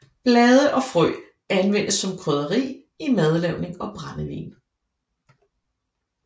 Blade og frø anvendes som krydderi i madlavning og brændevin